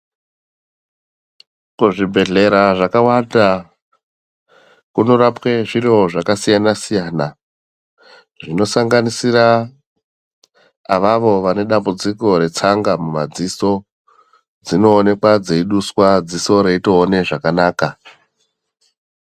Kuzvibhedhlera zvakawanda, kunorapwe zviro zvakasiyana-siyana, zvinosanganisira avavo vane dambudziko retsanga mumadziso, dzinowonekwa dzeyiduswa dziso reyitoona zvakanaka.